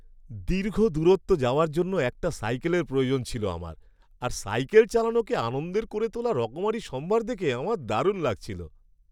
দীর্ঘ দূরত্ব যাওয়ার জন্য একটা সাইকেলের প্রয়োজন ছিল আমার, আর সাইকেল চালানোকে আনন্দের করে তোলা রকমারি সম্ভার দেখে আমার দারুণ লাগছিল।